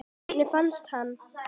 Hvernig fannstu hann?